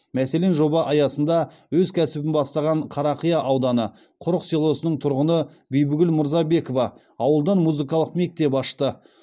мәселен жоба аясында өз кәсібін бастаған қарақия ауданы құрық селосының тұрғыны бибігүл мырзабекова ауылдан музыкалық мектеп ашты